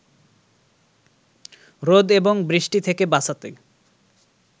রোদ এবং বৃষ্টি থেকে বাঁচাতে